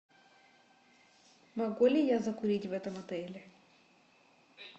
могу ли я закурить в этом отеле